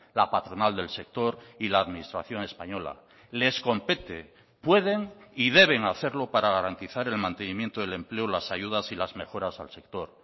la patronal del sector y la administración española les compete pueden y deben hacerlo para garantizar el mantenimiento del empleo las ayudas y las mejoras al sector